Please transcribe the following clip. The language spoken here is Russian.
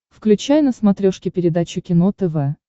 включай на смотрешке передачу кино тв